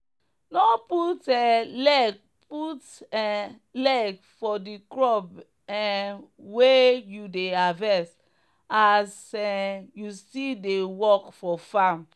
no um carry rot ten fruit add the fresh ones um when you dey harvest.